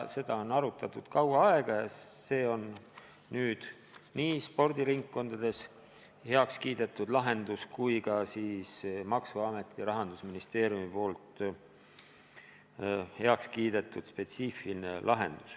Seda on arutatud kaua aega ja see spetsiifiline lahendus on nüüd heaks kiidetud nii spordiringkondades kui ka maksuametis ja Rahandusministeeriumis.